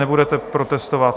Nebudete protestovat?